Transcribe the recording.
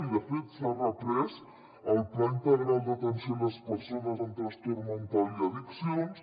i de fet s’ha reprès el pla integral d’atenció a les persones amb trastorn mental i addiccions